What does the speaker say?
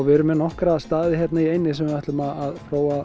við erum með nokkra staði hérna í eyjunni þar sem við ætlum að